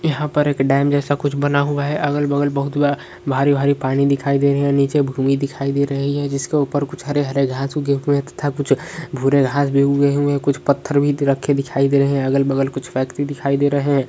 यहां पर एक डैम जैसा कुछ बना हुआ है अगल-बगल बहुत भारी-भारी पानी दिखाई दे रहे है नीचे भूमि दिखाई दे रही है जिसके ऊपर कुछ हरे हरे धांसू के तथा वूरे घास भी उगे हूए हूए हे कुछ पत्थर भी रख दिखाई दे रहे है अगल-बगल कुछ फेकटरी दिखाई दे रहे है।